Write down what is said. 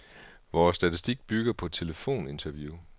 Vores statistik bygger på telefoninterview.